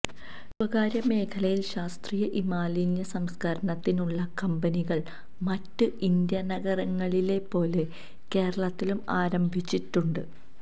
സ്വകാര്യമേഖലയില് ശാസ്ത്രീയ ഇമാലിന്യ സംസ്കരണത്തിനുള്ള കമ്പനികള് മറ്റ് ഇന്ത്യന്നഗരങ്ങളിലെപ്പോലെ കേരളത്തിലും ആരംഭിച്ചിട്ടുണ്ട്